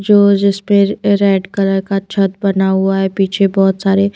जो जिसपर अ रेड कलर का छत बना हुआ है पीछे बहुत सारे--